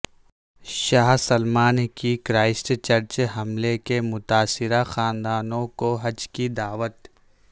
شاہ Salman کی Christchurch حملے کے متاثرہ خاندانوں کو حج کی دعوت